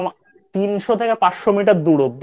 তিনশো থেকে পাঁচশো Metre দূর অবধি